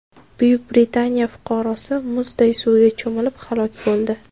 Buyuk Britaniya fuqarosi muzday suvga cho‘milib, halok bo‘ldi.